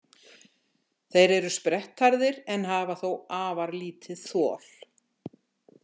Þeir eru sprettharðir en hafa þó afar lítið þol.